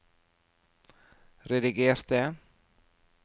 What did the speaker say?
redigerte